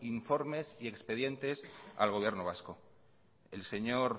informes y expedientes al gobierno vasco el señor